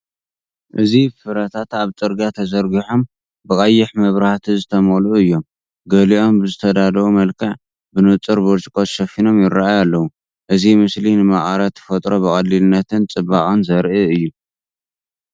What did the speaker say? እዚ ፍረታት ኣብ ጽርግያ ተዘርጊሖም፡ ብቐይሕ መብራህቲ ዝተመልኡ እዮም። ገሊኦም ብዝተዳለወ መልክዕ፡ ብንጹር ብርጭቆ ተሸፊኖም ይራኣዩ ኣለዉ። እዚ ምስሊ ንመቐረት ተፈጥሮ ብቐሊልነትን ጽባቐን ዘርኢ'ዩ።